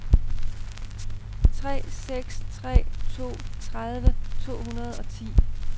tre seks tre to tredive to hundrede og ti